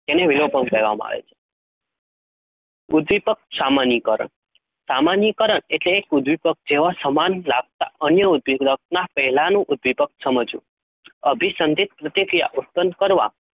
તેને વિલોપન કેહવામાં આવે છે? ઉધીપિક, સમાની કારણ સમાની કારણ, એક ઉધિપક કહેવામાં આવે છે? અન્ય સમજવું તેને વિલોપન કહેવામાં આવે છે?